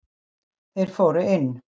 Þeir fóru inn.